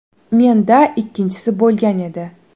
Menda ikkinchisi bo‘lgan edi.